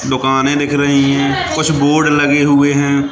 दुकाने दिख रही हैं कुछ बोर्ड लगे हुएं हैं।